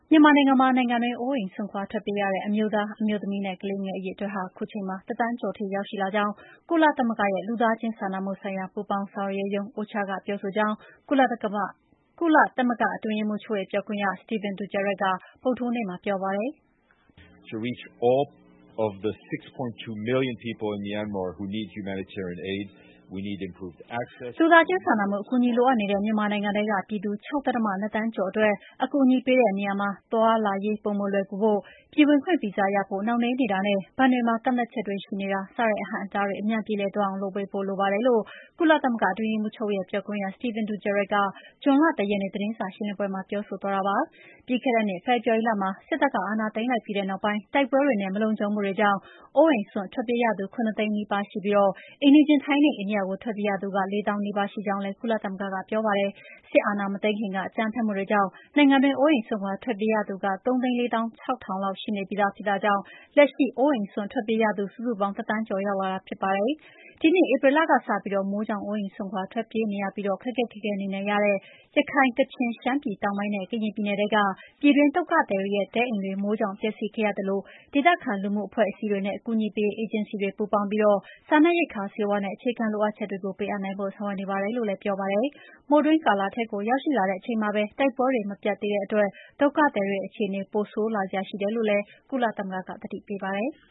မြန်မာနိုင်ငံမှာ နိုင်ငံတွင်း အိုးအိမ်စွန့်ခွာ ထွက်ပြေးကြရတဲ့ အမျိုးသား၊ အမျိုးသမီးနဲ့ ကလေးငယ် အရေအတွက်ဟာ အခုအချိန်မှာ တသန်းကျော်ထိ ရောက်ရှိလာကြောင်း ကုလသမဂ္ဂရဲ့ လူသားချင်းစာနာမှုဆိုင်ရာ ပူးပေါင်းဆောင်ရွက်ရေးရုံး OCHA က ပြောဆိုကြောင်း ကုလသမဂ္ဂ အတွင်းရေးမှူးချုပ်ရဲ့ ပြောခွင့်ရ Stephen Dujerric က ဗုဒ္ဓဟူးနေ့မှာ ပြောပါတယ်။ "လူသားချင်းစာနာမှု အကူအညီလိုအပ်နေတဲ့ မြန်မာနိုင်ငံထဲက ပြည်သူ ၆ ဒသမ ၂ သန်း ကျော်အတွက် အကူအညီပေးတဲ့နေရာမှာ သွားလာရေး ပိုမိုလွယ်ကူဖို့၊ ပြည်ဝင်ခွင့် ဗီဇာရဖို့ နှောင့်နှေးနေတာနဲ့ ဘဏ်တွေမှာ ကန့်သတ်ချက်တွေရှိနေတာ စတဲ့ အဟန့်အတာေးတွ အမြန်ပြေလည်သွာအောင် လုပ်ပေးဖို့လိုပါတယ်လို့ ကုလသမဂ္ဂ အတွင်းရေးမှုးချုပ်ရဲ့ ပြောခွင့်ရ Stephen Dujerric က ဇွန်လ ၁ ရက်နေ့ သတင်းစာရှင်းလင်းပွဲမှာပြောဆိုသွားတာပါ။ ပြီးခဲ့တဲ့နှစ် ဖေဖော်ဝါရီလမှာ စစ်တပ်က အာဏာသိမ်းပြီးနောက်ပိုင်း တိုက်ပွဲတွေနဲ့ မလုံခြုံမှုကြောင့် အိုးအိမ်စွန့်ထွက်ပြေးသူ ၇ သိန်း နီးပါးရှိပြီး အိမ်နီးချင်း ထိုင်းနဲ့ အိန္ဒိယကို ထွက်ပြေးရသူက ၄ သောင်းနီးပါး ရှိကြောင်းလည်း ကုလသမဂ္ဂက ပြောပါတယ်။ စစ်အာဏာ မသိမ်းခင်က အကြမ်းဖက်မှုတွေကြောင့် နိုင်ငံတွင်း အိုးအိမ်စွန့် ထွက်ပြေးရသူ ၃၄၆,၀၀၀ လောက် ရှိနေပြီးသား ဖြစ်တာကြောင့် လက်ရှိ အိုးအိမ်စွန့် ထွက်ပြေးရသူ စုစုပေါင်း ၁ သန်းကျော်ကို ရောက်ရှိလာတာ ဖြစ်ပါတယ်။ ဒီနှစ်ဧပြီလကစပြီး မိုးကြောင့် အိုးအိမ်စွန့်ထွက်ပြေးနေရပြီး ခက်ခက်ခဲခဲ နေထိုင်နေကြရတဲ့ ရခိုင်၊ ကချင်၊ ရှမ်းပြည်တောင်ပိုင်းနဲ့ ကရင်ပြည်နယ်ထဲက ပြည်တွင်း ဒုက္ခသည်တွေရဲ့ တဲအိမ်တွေမိုးကြောင့် ပျက်စီးခဲ့နေရသလို ဒေသခံလူမှုအဖွဲ့အစည်းတွေနဲ့ အကူအညီပေးရေး အေဂျင်စီတွေ ပူးပေါင်းပြီး စားနပ်ရိက္ခာ၊ ဆေးဝါးနဲ့ အခြေခံလိုအပ်ချက်တွေကို ပေးအပ်နိုင်ဖို့ ဆောင်ရွက်နေပါတယ်လို့ လည်းပြောပါတယ်။ မိုးတွင်းကာလထဲကိုရောက်လာတဲ့အချိန်မှာပဲ တိုက်ပွဲတွေမပြတ်သေးတဲအ့တွက် ဒုက္ခသည်တွေရဲ့ အခြေအေနေ ပိုဆိုးလာစရာရှိတယ်လို့လည်း ကုလသမဂ္ဂက သတိပေးပါတယ်။